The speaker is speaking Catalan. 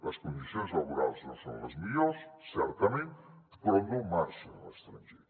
les condicions laborals no són les millors certament però no marxen a l’estranger